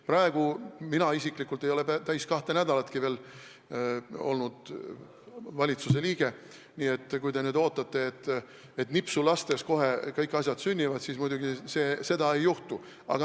Praegu ei ole mina isiklikult päris kahte nädalatki valitsusliige olnud, nii et kui te nüüd ootate, et kõik asjad kohe nipsu lastes sünnivad, siis seda muidugi ei juhtu.